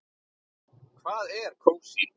Hvað er kósí?